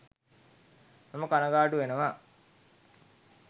මම කණගාටු වෙනවා